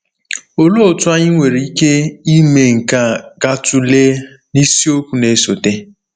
Olee otú anyị nwere ike ime nke a ga-atụle na isiokwu na-esote.